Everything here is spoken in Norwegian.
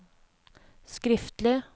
skriftlig